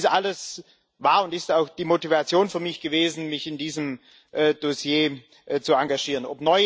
Dies alles war und ist auch die Motivation für mich gewesen, mich in diesem Dossier zu engagieren.